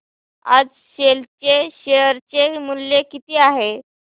आज सेल चे शेअर चे मूल्य किती आहे